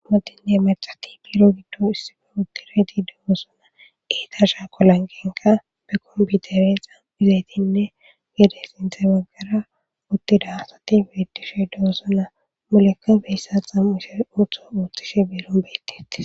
amadinne marxati biro giddo issife uttire di degosona eeta shaa kolangenka be kompiutere xamu izaytinne gede sinthe baggara uttida hasati biridishe duosona mulekka beyssa xamuushe uutho uuttishe biiron beytiti